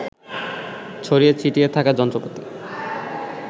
ছড়িয়ে ছিটিয়ে থাকা যন্ত্রপাতি